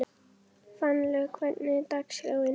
Fannlaug, hvernig er dagskráin?